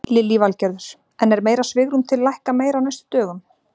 Lillý Valgerður: En er meira svigrúm til lækka meira á næstu dögum?